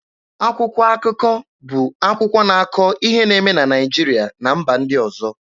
Akwụkwọ akụkọ bụ akwụkwọ na-akọ ihe na-eme na Naịjirịa na mba ndị ọzọ.